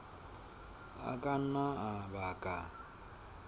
a ka nna a baka